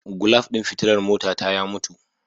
Gulaf din fitilar motata ya mutu.